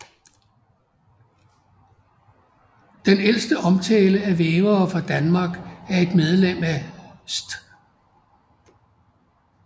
Den ældste omtale af vævere fra Danmark er et medlem af St